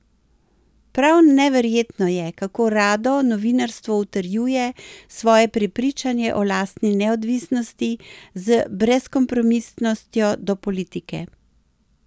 Prav neverjetno je, kako rado novinarstvo utrjuje svoje prepričanje o lastni neodvisnosti z brezkompromisnostjo do politike.